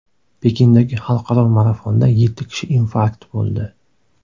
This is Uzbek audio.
Pekindagi xalqaro marafonda yetti kishi infarkt bo‘ldi.